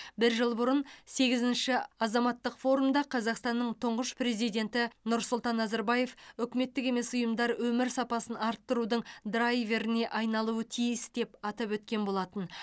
бір жыл бұрын сегізінші азаматтық форумда қазақстанның тұңғыш президенті нұрсұлтан назарбаев үкіметтік емес ұйымдар өмір сапасын арттырудың драйверіне айналуы тиіс деп атап өткен болатын